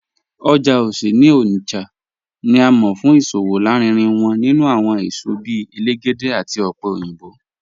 Oja Ose ni Onitsha ni à mọ̀ fún iṣowo lárínrín wọn nínú awọn èṣọ bíì èlégédè àti ọpẹ̀ oyinbọ̀.